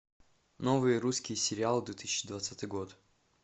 новый русский сериал две тысячи двадцатый год